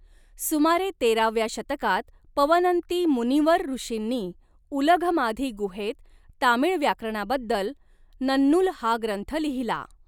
सुमारे तेराव्या शतकात पवनंती मुनिवर ऋषींनी उलघमाधी गुहेत तामिळ व्याकरणाबद्दल नन्नुल हा ग्रंथ लिहिला.